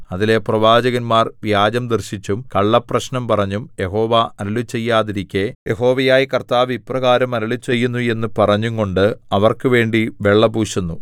അതിലെ പ്രവാചകന്മാർ വ്യാജം ദർശിച്ചും കള്ളപ്രശ്നം പറഞ്ഞും യഹോവ അരുളിച്ചെയ്യാതിരിക്കെ യഹോവയായ കർത്താവ് ഇപ്രകാരം അരുളിച്ചെയ്യുന്നു എന്ന് പറഞ്ഞുംകൊണ്ട് അവർക്കുവേണ്ടി വെള്ള പൂശുന്നു